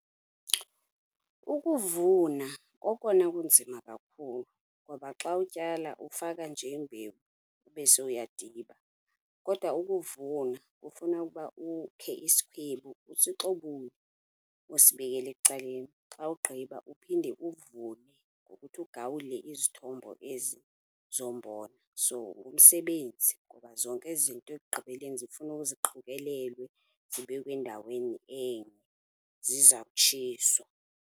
Ukuvuna kokona kunzima kakhulu, ngoba xa utyala ufaka nje imbewu ube sowuyadiba. Kodwa ukuvuna kufuna uba ukhe isikhwebu, usixobule, usibekele ecaleni, xa ugqiba uphinde uvune ngokuthi ugawule izithombo ezi zombona. So, ngumsebenzi ngoba zonke ezi zinto ekugqibeleni zifuna ziqokelelwe, zibekwe endaweni enye ziza kutshiswa.